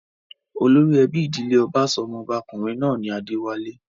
Olórí ẹbí ìdílé ọba sọ ọmọba-kùnrin náà ní 'Adéwálé'.